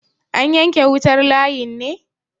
an yanke wutar layin ne?